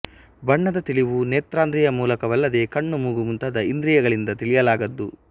ಬಣ್ಣದ ತಿಳಿವು ನೇತ್ರೇಂದ್ರಿಯದ ಮೂಲಕವಲ್ಲದೆ ಕಣ್ಣು ಮೂಗು ಮುಂತಾದ ಇಂದ್ರಿಯಗಳಿಂದ ತಿಳಿಯಲಾಗದ್ದು